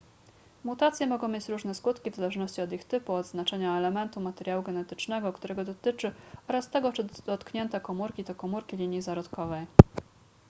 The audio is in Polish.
mutacje mogą mieć różne skutki w zależności od ich typu od znaczenia elementu materiału genetycznego którego dotyczy oraz tego czy dotknięte komórki to komóri linii zarodkowej